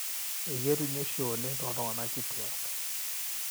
eketumi oshi oleng tooltung'anak kituaak